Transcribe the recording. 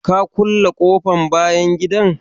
Ka kulle ƙofan bayan gidan?